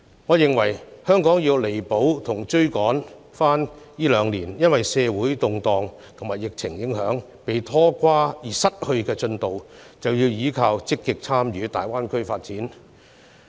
我認為，香港若想要彌補和追回這兩年因社會動盪和疫情影響而失去的進度，便得積極參與大灣區的發展。